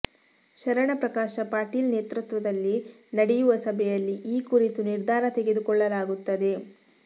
ಶರಣಪ್ರಕಾಶ ಪಾಟೀಲ್ ನೇತೃತ್ವದಲ್ಲಿ ನಡೆಯುವ ಸಭೆಯಲ್ಲಿ ಈ ಕುರಿತು ನಿರ್ಧಾರ ತೆಗೆದುಕೊಳ್ಳಲಾಗುತ್ತದೆ